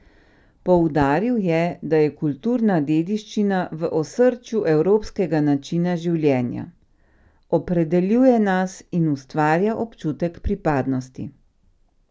Poudaril je, da je kulturna dediščina v osrčju evropskega načina življenja: "Opredeljuje nas in ustvarja občutek pripadnosti.